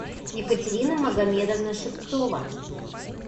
екатерина магомедовна шевцова